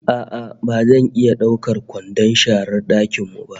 A'a ba zan iya daukar kwandon sharar dakin mu ba